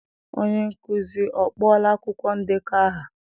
Onye nkuzi ọ kpọọla akwụkwọ ndekọ aha?